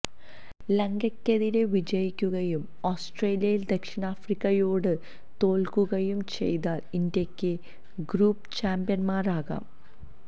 ലങ്കയ്ക്കെതിരെ വിജയിക്കുകയും ഓസ്ട്രേലിയ ദക്ഷിണാഫ്രിക്കയോട് തോല്ക്കുകയും ചെയ്താല് ഇന്ത്യക്ക് ഗ്രൂപ്പ് ചാമ്പ്യന്മാരാകാം